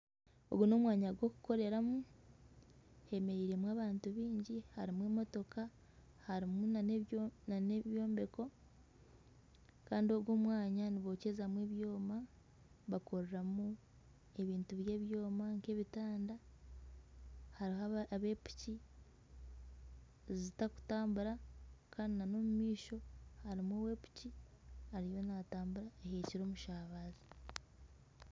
Ogu n'omwanya gw'okukoreramu hemereiremu abantu baingi harimu emotoka, harimu nana ebyombeko kandi ogu omwanya nibokyezamu ebyoma bakoreramu ebintu by'ebyoma nk'ebitanda hariho aba piki zitakutambura kandi nana ow'omu maisho harimu owa piki ariyo naatambura ahekire omushabazi